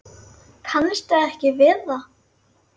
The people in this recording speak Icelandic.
Kannist þið ekki við það?